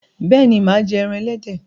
béèni má jé èràn elédè.